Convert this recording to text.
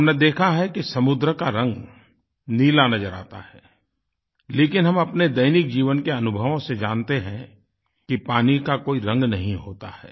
हमने देखा है कि समुन्दर का रंग नीला नज़र आता है लेकिन हम अपने दैनिक जीवन के अनुभवों से जानते हैं कि पानी का कोई रंग नहीं होता है